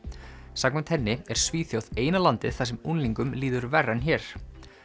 samkvæmt henni er Svíþjóð eina landið þar sem unglingum líður verr en hér